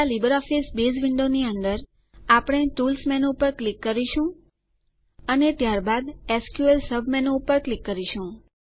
પહેલા LibreOffice base window ની અંદર આપણે ટૂલ્સ મેનૂ ઉપર ક્લિક કરીશું અને ત્યારબાદ એસક્યુએલ સબમેનૂ ઉપર ક્લિક કરીશું